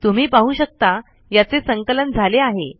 तुम्ही पाहू शकता याचे संकलन झाले आहे